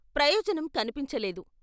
ప్రయోజనం కనిపించలేదు.